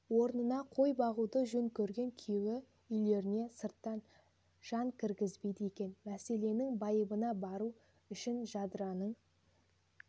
орнына қой бағуды жөн көрген күйеуі үйлеріне сырттан жан кіргізбейді екен мәселенің байыбына бару үшінжадыраның